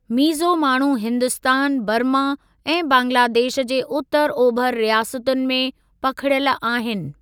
मीज़ो माण्हू हिन्दुस्तान, बर्मा ऐं बंगलादेश जे उतरु ओभर रियासतुनि में पखिड़ियल आहिन।